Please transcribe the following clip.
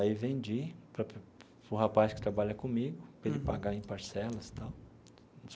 Aí vendi para para o rapaz que trabalha comigo, para ele pagar em parcelas e tal.